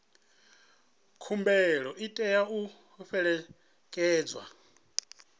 khumbelo i tea u fhelekedzwa